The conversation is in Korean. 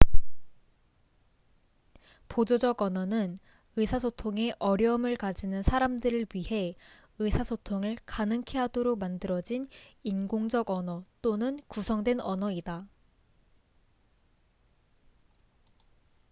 보조적 언어는 의사소통에 어려움을 가지는 사람들을 위해 의사소통을 가능케 하도록 만들어진 인공적 언어 또는 구성된 언어이다